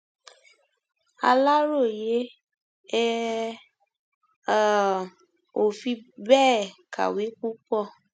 aláròye ẹ um ò fi bẹẹ kàwé púpọ